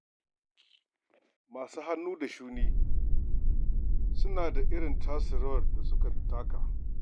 Masu hannun da shuni suna da irin tasu rawar da su taka.